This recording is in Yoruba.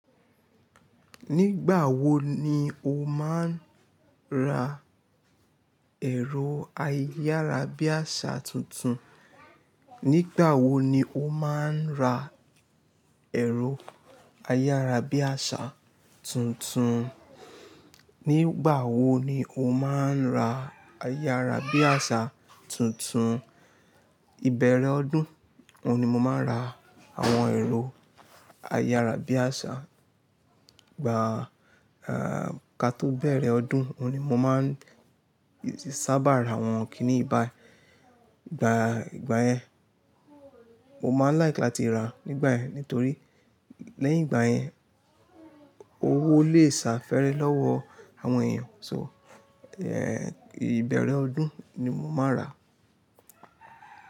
Nígbà wo ni o máa ń ra ẹ̀rọ ayára bí àsá tuntun? Nígbà wo ni o máa ń ra ẹ̀rọ ayára bí àsá tuntun? Nígbà wo ni o máa ń ra ayára bí àsá tuntun? Ìbẹ̀rẹ̀ ọdún oun ni mo máa ń ra àwọn ẹ̀rọ ayára bí àsá. Ìgbà ká tó bẹ̀rẹ̀ ọdún oun ni mo máa ń sábà ra àwọn kíní ìbà. Ìgbà yẹn mo máa ń like láti ra nígbà yẹn torí lẹ́yìn ìgbà yẹn owó lè sá fèrè lọ́wọ́ àwọn èèyàn. So, ẹ́ ìbẹ̀rẹ̀ ọdún ni mo máa rà.